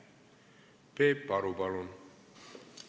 Peep Aru, palun!